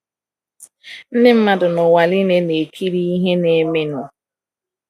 Ndị mmadụ n’ụwa nile na - ekiri ihe na - emenụ.